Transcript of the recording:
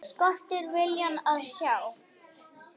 Skortir viljann til að sjá.